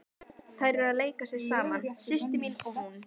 Þær eru að leika sér saman, systir mín og hún.